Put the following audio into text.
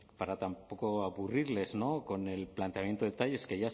aburrirles con el planteamiento de detalles